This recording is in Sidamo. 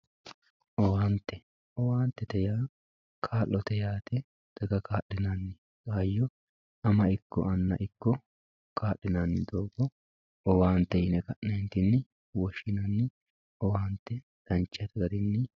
owaante owaantete yaa kaa'lote yaate daga kaa'linanni hayyo ama ikko anna ikko kaa'linani kaa'linanni doogo owaante yine ka'neentinni woshshinanni owaante dancha garinni..